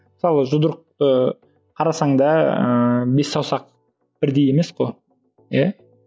мысалы жұдырықты қарасаңда ыыы бес саусақ бірдей емес қой иә